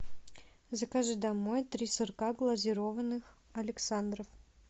закажи домой три сырка глазированных александров